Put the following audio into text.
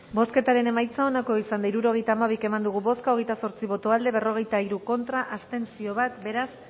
bozketaren emaitza onako izan da hirurogeita hamabi eman dugu bozka hogeita zortzi boto aldekoa berrogeita hiru contra bat abstentzio beraz